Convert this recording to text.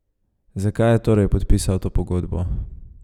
Zakaj je torej podpisal to pogodbo?